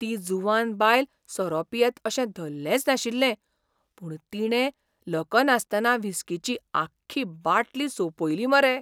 ती जुवान बायल सोरो पियेत अशें धल्लेंच नाशिल्लें, पूण तिणे लकनासतना व्हिस्कीची आख्खी बाटली सोंपयली मरे.